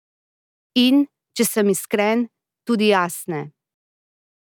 In, če sem iskren, tudi jaz ne.